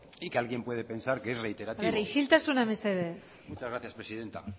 y que alguien puede pensar que es reiterativo isiltasuna mesedez muchas gracias presidenta